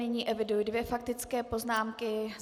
Nyní eviduji dvě faktické poznámky.